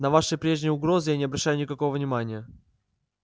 на ваши прежние угрозы я не обращаю никакого внимания